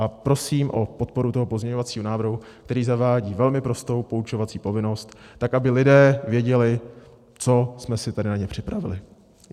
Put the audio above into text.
A prosím o podporu toho pozměňovacího návrhu, který zavádí velmi prostou poučovací povinnost tak, aby lidé věděli, co jsme si tady na ně připravili.